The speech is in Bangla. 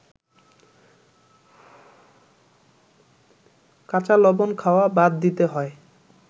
কাঁচালবণ খাওয়া বাদ দিতে হয়